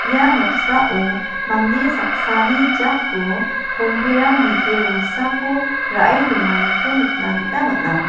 ia noksao mande saksani jako komperam bite rongsako ra·e donganiko nikna gita man·a.